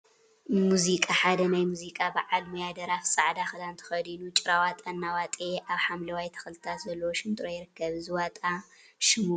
ሙዚቃ ሓደ ናይ ሙዚቃ በዓል ሞያ ደራፊ ፃዕዳ ክዳን ተከዲኑ ጭራዋጣ እናዋጠየ አብ ሓምለዋይ ተክሊታት ዘለዎ ሽንጥሮ ይርከብ፡፡ እዚ ዋጣይ ሽሙ መን ይበሃል?